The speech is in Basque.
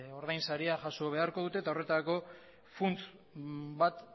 ordainsaria jaso beharko dute eta horretarako funts bat